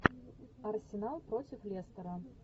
арсенал против лестера